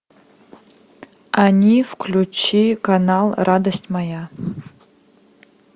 они включи канал радость моя